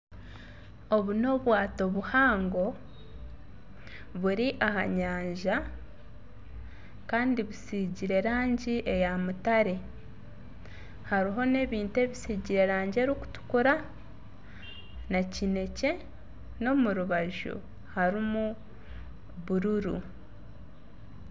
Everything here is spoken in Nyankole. Obu n'obwaato buhango buri aha nyanja kandi butsigire rangi eya mutare hariho n'ebintu ebitsigire rangi erikutukura na kinekye n'omu rubaju harimu bururu.